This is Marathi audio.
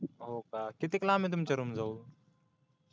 हो का कितीक लांबय तुमच्या रुमजवळून